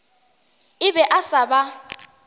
a be a sa ba